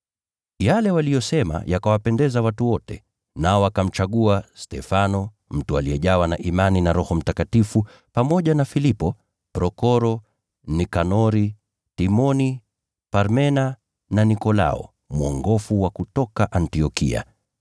Yale waliyosema yakawapendeza watu wote, nao wakamchagua Stefano (mtu aliyejawa na imani na Roho Mtakatifu) pamoja na Filipo, Prokoro, Nikanori, Timoni, Parmena na Nikolao, mwongofu kutoka Antiokia.